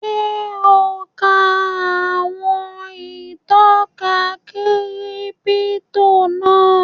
Ṣé ò ún ka àwọn ìtọ́ka kírípítò náà?